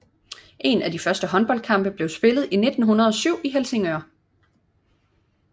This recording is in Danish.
En af de første håndboldkampe blev spillet i 1907 i Helsingør